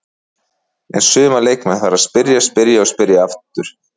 En suma leikmenn þarf að spyrja, spyrja og spyrja aftur.